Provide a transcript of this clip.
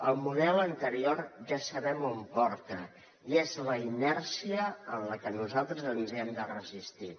el model anterior ja sabem on porta i és la inèrcia a la que nosaltres ens hi hem de resistir